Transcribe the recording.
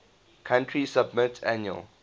country submit annual